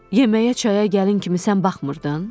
Yeməyə çaya gəlin kimi sən baxmırdın?